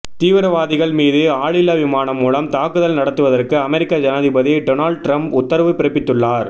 தீவிரவாதிகள் மீது ஆளில்லா விமானம் மூலம் தாக்குதல் நடத்துவதற்கு அமெரிக்க ஜனாதிபதி டொனால்ட் ட்ரம்ப் உத்தரவு பிறப்பித்துள்ளார்